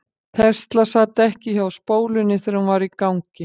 Tesla sat ekki hjá spólunni þegar hún var í gangi.